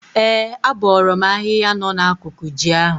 Ee, abọọrọ m ahịhịa nọ n'akụkụ ji ahụ.